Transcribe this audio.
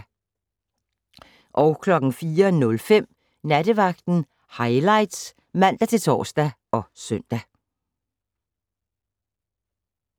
04:05: Nattevagten Highlights (man-tor og søn)